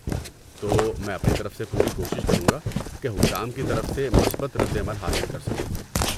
تو میں اپنی طرف سے پوری کوشش کروں گا کہ حکام کی طرف سے مثبت رد عمل حاصل کر سکوں۔